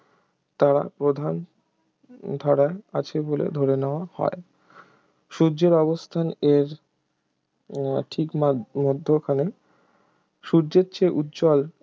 তারা বোধহয় প্রধান ধারায় আছে বলে ধরে নেয়া হয় সূর্যের অবস্থান এর ঠিক মাঝ মধ্যখানে সূর্যের চেয়ে উজ্জ্বল